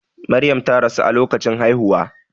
Maryam ta rasu a lokacin haihuwa.